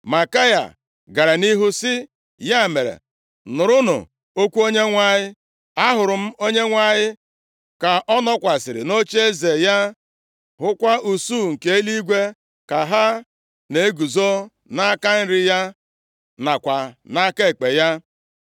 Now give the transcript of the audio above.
Maikaya gara nʼihu sị, “Ya mere, nụrụnụ okwu Onyenwe anyị: Ahụrụ m Onyenwe anyị ka ọ nọkwasịrị nʼocheeze ya, hụkwa usuu nke eluigwe ka ha na-eguzo nʼaka nri ya nakwa nʼaka ekpe ya.